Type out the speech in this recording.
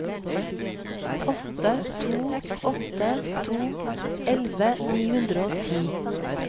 åtte to åtte to elleve ni hundre og ti